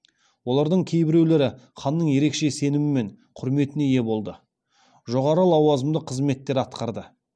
олардың кейбіреулері ханның ерекше сенімі мен құрметіне ие болды жоғары лауазымды қызметтер атқарды